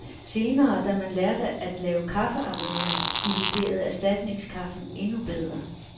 Senere, da man lærte at lave kaffearoma, illuderede erstatningskaffen endnu bedre.